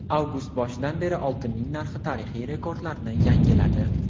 Avgust boshidan beri oltinning narxi tarixiy rekordlarni yangiladi .